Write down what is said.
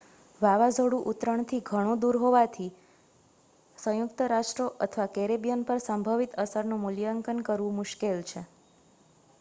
વાવાઝોડું ઉતરણથી ઘણું દૂર હોવાથી સંયુક્ત રાષ્ટ્રો અથવા કેરેબિયન પર સંભવિત અસરનું મૂલ્યાંકન કરવું મુશ્કેલ છે